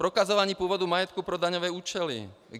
Prokazování původu majetku pro daňové účely.